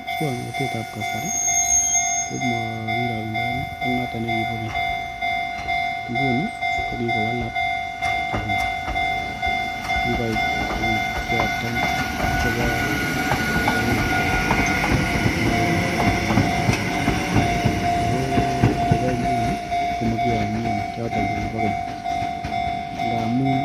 Muswongnotet ab kasari komokirokendoen ak noton nikibo keny, nguni ko kikowalak tuguk, kikoit tuguk choton chebo kasorwek chuton makou chukibo olikinyet ako chebo nguni komokionien choton chekibo keny ngamun